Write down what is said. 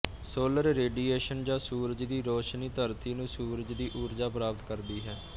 solar radiation ਜਾਂ ਸੂਰਜ ਦੀ ਰੌਸ਼ਨੀ ਧਰਤੀ ਨੂੰ ਸੂਰਜ ਦੀ ਊਰਜਾ ਪ੍ਰਾਪਤ ਕਰਦੀ ਹੈ